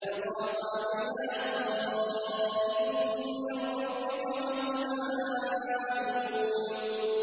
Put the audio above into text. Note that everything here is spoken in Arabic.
فَطَافَ عَلَيْهَا طَائِفٌ مِّن رَّبِّكَ وَهُمْ نَائِمُونَ